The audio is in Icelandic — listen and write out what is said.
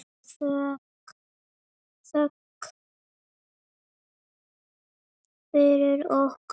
Þökk fyrir okkur.